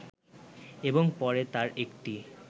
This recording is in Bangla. এবং পরে তার একটি